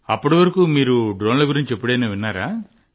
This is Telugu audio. అప్పటివరకు మీరు డ్రోన్ల గురించి ఎప్పుడైనా విన్నారా